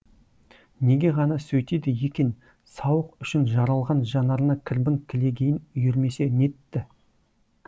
неге ғана сөйтеді екен сауық үшін жаралған жанарына кірбің кілегейін үйірмесе нетті